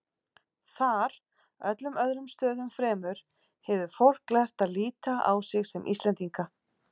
Þar, öllum öðrum stöðum fremur, hefur fólk lært að líta á sig sem Íslendinga.